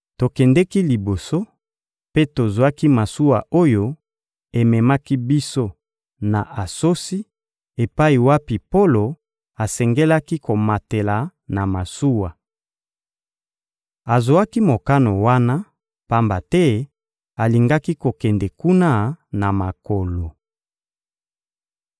Tokendeki liboso, mpe tozwaki masuwa oyo ememaki biso na Asosi epai wapi Polo asengelaki komatela na masuwa. Azwaki mokano wana, pamba te alingaki kokende kuna na makolo.